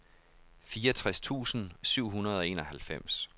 fireogtres tusind syv hundrede og enoghalvfems